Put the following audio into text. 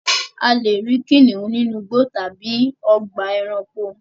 A lè rí kìnnìún nínu igbó tábí tábí ògbà èránkò